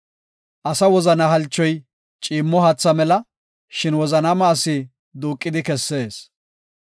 Asa wozana halchoy ciimmo haatha mela; shin wozanaama asi duuqidi kessees.